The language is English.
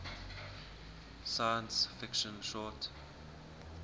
science fiction short